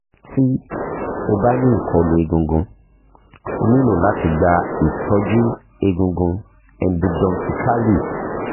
ti o ba ni ikolu egungun o nilo lati gba itọju egungun endodontically